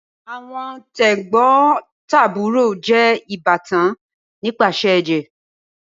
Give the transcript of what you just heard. Awọn tegbotaburo jẹ ibatan nipasẹ ẹjẹ.